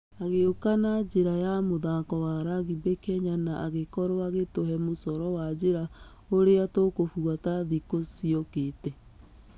Agĩũka na njĩra ya mũthako wa rugby kenya na agĩkorwo sgĩtũhe mũcoro wa njĩra ũrĩa tũkũbuata thĩkũ ciokĩte.